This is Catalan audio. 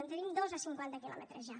en tenim dos a cinquanta quilòmetres ja